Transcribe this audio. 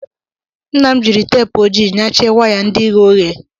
Nna m jiri teepụ ojii nyachie waya ndị ghe oghe.